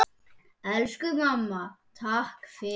Elsku mamma. takk fyrir allt.